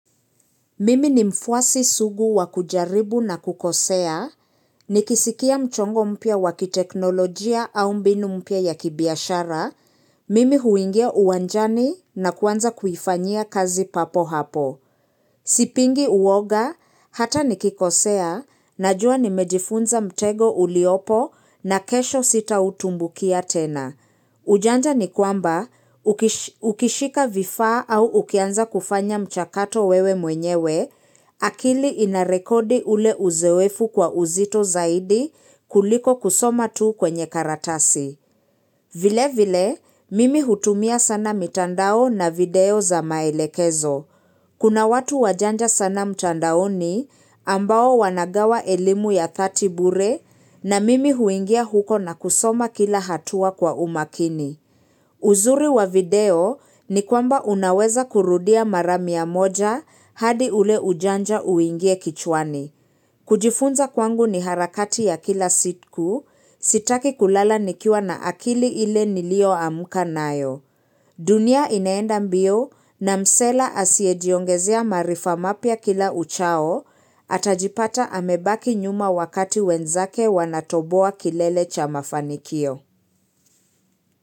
Mimi ni mfuasi sugu wakujaribu na kukosea, nikisikia mchongo mpya wa kiteknolojia au mbinu mpya ya kibiashara, mimi huingia uwanjani na kuanza kuifanyia kazi papo hapo. Sipingi uwoga, hata nikikosea, najua nimejifunza mtego uliopo na kesho sitautumbukia tena. Ujanja ni kwamba ukishika vifaa au ukianza kufanya mchakato wewe mwenyewe, akili inarekodi ule uzoefu kwa uzito zaidi kuliko kusoma tu kwenye karatasi. Vile vile, mimi hutumia sana mitandao na video za maelekezo. Kuna watu wajanja sana mtandaoni ambao wanagawa elimu ya 30 bure na mimi huingia huko na kusoma kila hatua kwa umakini. Uzuri wa video ni kwamba unaweza kurudia mara mia moja hadi ule ujanja uingie kichwani. Kujifunza kwangu ni harakati ya kila siku sitaki kulala nikiwa na akili ile nilioamka nayo. Dunia inaenda mbio na msela asiyejiongezea maarifa mapya kila uchao atajipata amebaki nyuma wakati wenzake wanatoboa kilele cha mafanikio.